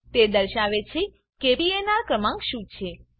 તે દર્શાવે છે કે પીએનઆર ક્રમાંક શું છે